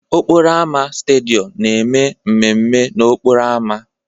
Okporo ámá Stadịom na-eme mmemme n'okporo ámá.